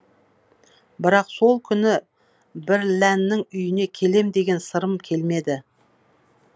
бірақ сол күні бірләннің үйіне келем деген сырым келмеді